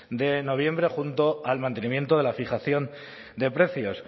de noviembre junto al mantenimiento de la fijación de precios